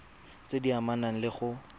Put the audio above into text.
tse di amanang le go